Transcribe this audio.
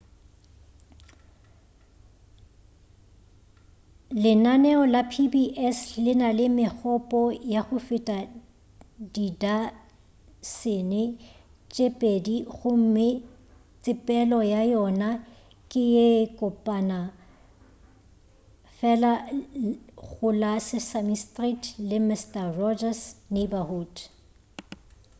lenaneo la pbs le na le megopo ya go feta didasene tše pedi gomme tsepelo ya yona ke ye kopana fela go la sesame street le mister rogers' neighborhood